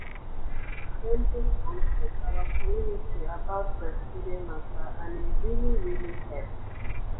dem bin come teach our community about breastfeeding mata and e really really hep.